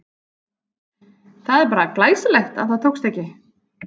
Það er bara glæsilegt að það tókst ekki!